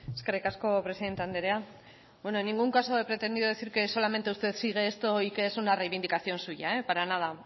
eskerrik asko presidente andrea bueno en ningún caso he pretendido decir que solamente usted sigue esto y que es una reivindicación suya para nada